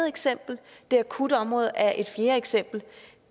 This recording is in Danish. eksempel og det akutte område er et fjerde eksempel